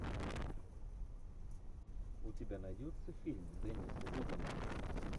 у тебя найдется фильм денниса дугана